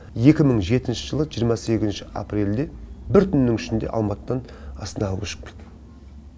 екі мың жетінші жылы жиырма сегізінші апрельде бір түннің ішінде алматыдан астанаға көшіп келдім